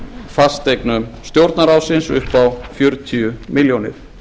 fasteignum stjórnarráðsins upp á fjörutíu milljónir